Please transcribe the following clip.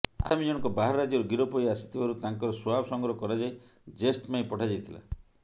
ଆସାମୀ ଜଣକ ବାହାର ରାଜ୍ୟରୁ ଗିରଫ ହୋଇ ଆସିଥିବାରୁ ତାଙ୍କର ସ୍ୱାବ ସଂଗ୍ରହ କରାଯାଇ ଯେଷ୍ଟ ପାଇଁ ପଠାଯାଇଥିଲା